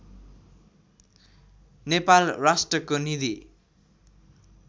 नेपाल राष्ट्रको निधि